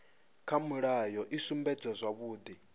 kha mulayo i sumbedza zwavhudi